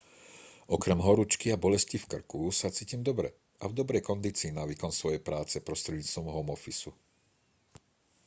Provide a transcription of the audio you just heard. okrem horúčky a bolesti v krku sa cítim dobre a v dobrej kondícii na výkon svojej práce prostredníctvom homeoffice-u